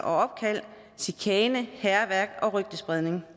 opkald chikane hærværk og rygtespredning